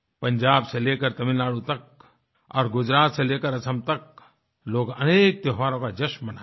पंजाब से लेकर तमिलनाडु तक और गुजरात से लेकर असम तक लोग अनेक त्योहारों का जश्न मनायेंगे